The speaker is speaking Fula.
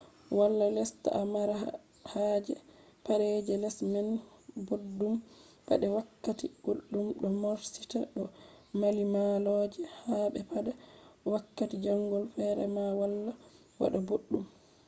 wala lesta a mara haje pade je les man boddum pade wakkati guldum do morsita do mallimalloje habe pade wakkati jangol fere ma wala wada boddum